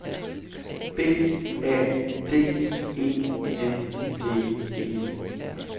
B A D E N D E